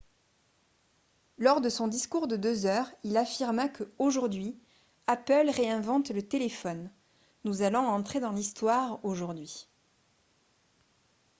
lors de son discours de deux heures il affirma que « aujourd'hui apple réinvente le téléphone ; nous allons entrer dans l'histoire aujourd'hui. »